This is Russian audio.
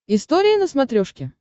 история на смотрешке